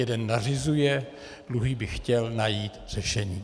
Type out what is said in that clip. Jeden nařizuje, druhý by chtěl najít řešení.